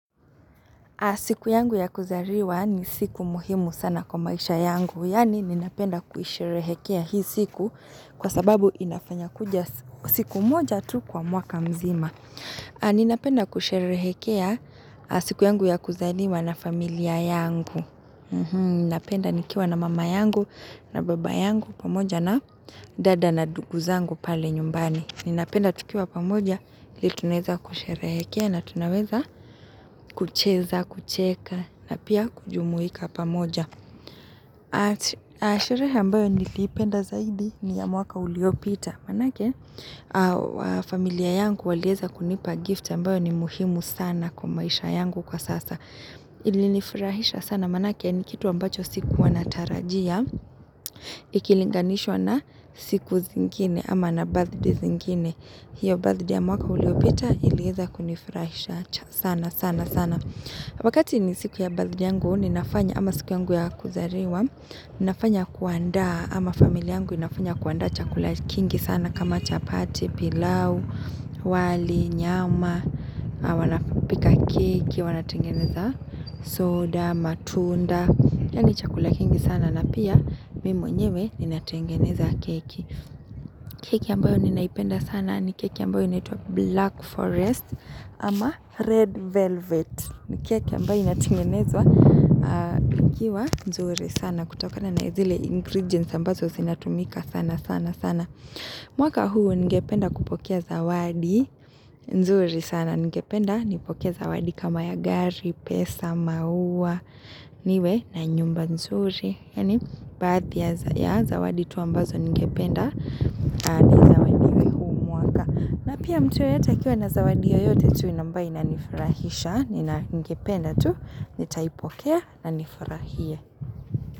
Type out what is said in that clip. Siku yangu ya kuzariwa ni siku muhimu sana kwa maisha yangu. Yani ninapenda kuisherehekea hii siku kwa sababu inafanya kuja siku moja tu kwa mwaka mzima. Ninapenda kusherehekea siku yangu ya kuzaliwa na familia yangu. Ninapenda nikiwa na mama yangu na baba yangu pamoja na dada na dugu zangu pale nyumbani. Ninapenda tukiwa pamoja, ili tuneza kushereke na tunaweza kucheza, kucheka na pia kujumuika pamoja. Aa sherehe ambayo nilipenda zaidi ni ya mwaka uliopita. Manake, familia yangu walieza kunipa gift ambayo ni muhimu sana kwa maisha yangu kwa sasa. Ilinifurahisha sana manake, nikitu ambacho sikuwa natarajia. Ikilinganishwa na siku zingine ama na birthday zingine. Hiyo birthday mwaka uliopita ilieza kunifurahisha sana sana sana Wakati ni siku ya birthday yangu ninafanya ama siku yangu ya kuzariwa Ninafanya kuanda ama familia yangu inafanya kuandaa chakula kingi sana kama chapati, pilau, wali, nyama, wanapika keki, wanatengeneza soda, matunda Yaani chakula kingi sana na pia mimi mwenyewe ninatengeneza keki keki ambayo ninaipenda sana ni keki ambayo inaitwa black forest ama red velvet ni keki ambayo inatengenezwa ikiwa nzuri sana kutokana na zile ingredients ambazo zinatumika sana sana sana mwaka huu ningependa kupokea zawadi nzuri sana ningependa nipokee zawadi kama ya gari, pesa, maua niwe na nyumba nzuri Yaani baadhi ya zawadi tu ambazo ningependa ni zawadi na pia mtu yeyote akiwa na zawadi yoyote tu ambayo inanifurahisha Nina ningependa tu nitaipokea na nifurahie.